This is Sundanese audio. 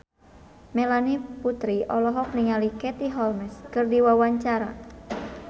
Melanie Putri olohok ningali Katie Holmes keur diwawancara